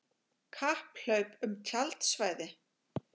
Kapphlaup um tjaldsvæði